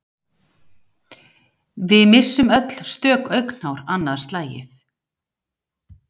við missum öll stök augnhár annað slagið